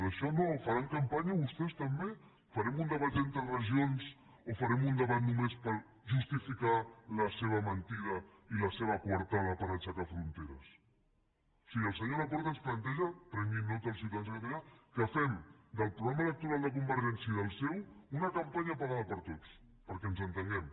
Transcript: d’això no en faran campanya vostès també farem un debat entre regions o farem un debat només per justificar la seva mentida i la seva coartada per ai·xecar fronteres o sigui el senyor laporta ens planteja que en preguin nota el ciutadans de catalunya que fem del progra·ma electoral de convergència i del seu una campanya pagada per tots perquè ens entenguem